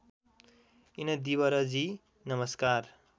इनदिवरजी नमस्कार